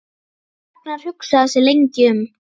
Ragnar hugsaði sig lengi um.